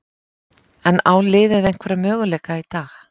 En á liðið einhverja möguleika í dag?